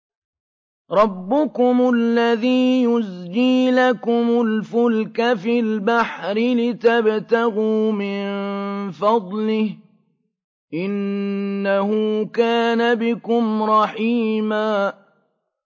رَّبُّكُمُ الَّذِي يُزْجِي لَكُمُ الْفُلْكَ فِي الْبَحْرِ لِتَبْتَغُوا مِن فَضْلِهِ ۚ إِنَّهُ كَانَ بِكُمْ رَحِيمًا